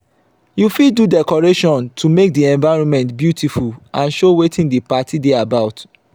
you fit do decoration to make the environment beautiful and show wetin the parti de about